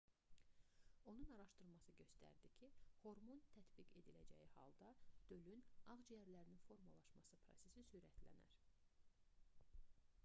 onun araşdırması göstərdi ki hormon tətbiq ediləcəyi halda dölün ağciyərinin formalaşması prosesi sürətlənər